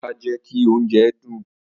Ata jẹ ki ounjẹ dun.